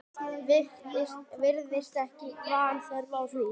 Virðist ekki vanþörf á því.